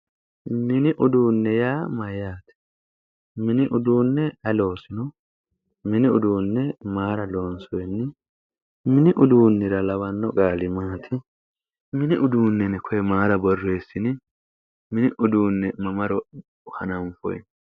mini uduunne yaa mayyaate? mini uduunne aye loosanno? mini uduunne mayra loonsoonni? mini uduunnira lawanno qaali maati? mini uduunne yine koye mayra borreessini? mini uduunne mamaro hanaffoy?